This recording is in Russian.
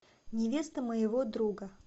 невеста моего друга